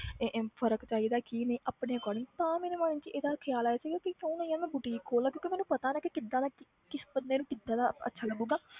ਇਹ ਇਹ ਫ਼ਰਕ ਚਾਹੀਦਾ ਕੀ ਨਹੀਂ ਆਪਣੇ according ਤਾਂ ਮੇਰੇ ਮਨ 'ਚ ਇਹਦਾ ਖ਼ਿਆਲ ਆਇਆ ਸੀਗਾ ਵੀ ਕਿਉਂ ਨਾ ਯਾਰ ਮੈਂ boutique ਖੋਲ ਲਵਾਂ ਕਿਉਂਕਿ ਮੈਨੂੰ ਪਤਾ ਨਾ ਕਿ ਕਿੱਦਾਂ ਦਾ ਕਿ~ ਕਿਸ ਬੰਦੇ ਨੂੰ ਕਿੱਦਾਂ ਦਾ ਅੱਛਾ ਲੱਗੇਗਾ,